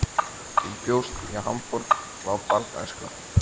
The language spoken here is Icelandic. Þú bjóst í Hamborg frá barnæsku.